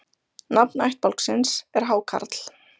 Nafn ættbálksins er Hákarl.